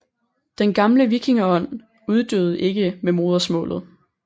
Den gamle vikingeånd uddøde ikke med modersmålet